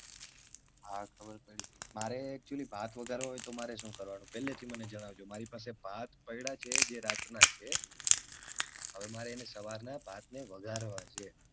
હા ખબર પડી મારે actually ભાત વઘારવા હોય તો મારે શું કરવું પેલે થી મને જણાવજો મારી પાસે ભાત પડા છે જે રાત ના છે. હવે મારે એને સવાર ના ભાત ને વઘારવા છે.